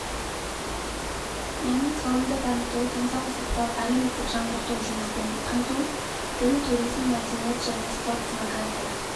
мен ғылымды дамыту денсаулық сақтау әлеуметтік жаңғырту жұмыспен қамту дін туризм мәдениет және спорт демография